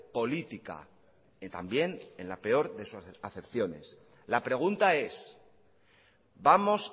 política y también en la peor de sus acepciones la pregunta es vamos